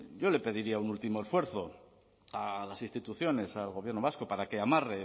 yo le pediría un último esfuerzo a las instituciones al gobierno vasco para que amarren